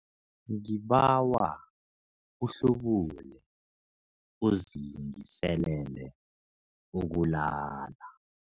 Ngibawa uhlubule uzilungiselele ukulala.